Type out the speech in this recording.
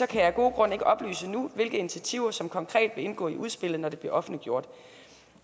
kan jeg af gode grunde ikke oplyse nu hvilke initiativer som konkret vil indgå i udspillet når det bliver offentliggjort